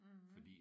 Mh